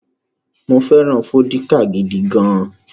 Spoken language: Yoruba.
Mo fẹ́ràn vódíkà gidi gan-an.